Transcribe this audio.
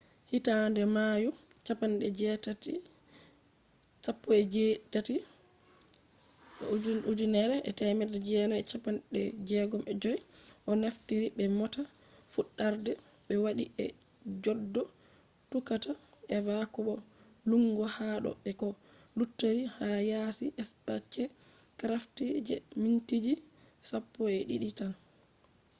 hitande mayu 18 1965 o naftiri be mota fuddarde be wadi je goddo tuqata eva ko bo dillugo ha do be ko luttori ha yaasi spacecraft je mintiji sappo’edidi tan